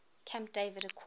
camp david accords